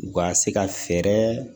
U ka se ka fɛɛrɛ